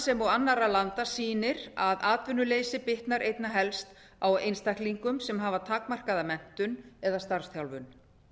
sem og annarra landa sýnir að atvinnuleysi bitnar einna helst á einstaklingum sem hafa takmarkaða menntun eða starfsþjálfun